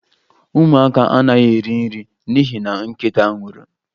Ụmụaka anaghị eri nri n'ihi na nkịta nwụrụ